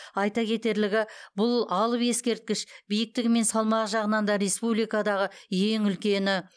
айта кетерлігі бұл алып ескерткіш биіктігі мен салмағы жағынан да республикадағы ең үлкені